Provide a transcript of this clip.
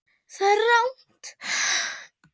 Það er rangt.